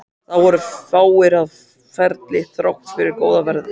Það voru fáir á ferli þrátt fyrir góða veðrið.